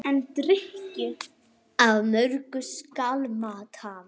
Af mörgu skal mat hafa.